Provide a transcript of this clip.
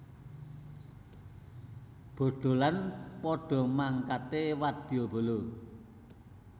Bodholan padha mangkate wadyabala